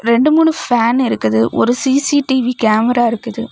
ரெண்டு மூணு ஃபேன் இருக்குது ஒரு சி_சி_டி_வி கேமரா இருக்குது.